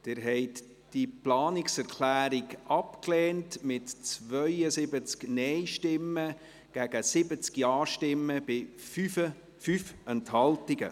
Sie haben diese Planungserklärung abgelehnt mit 72 Nein- gegen 70 Ja-Stimmen bei 5 Enthaltungen.